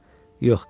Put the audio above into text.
Yox, gedəcəm.